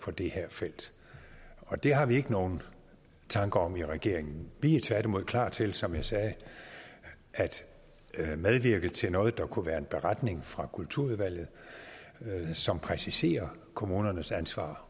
på det her felt og det har vi ikke nogen tanker om i regeringen vi er tværtimod klar til som jeg sagde at medvirke til noget der kunne være en beretning fra kulturudvalget som præciserer kommunernes ansvar